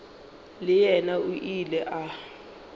le yena o ile a